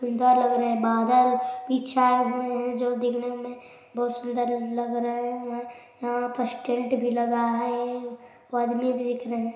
लग रहे है बदल भी छाए हुए है जो दिन में बहुत सुन्दर लग रहे है यहाँ पास टेंट भी लगा हुआ है आदमी भी दिख रहे--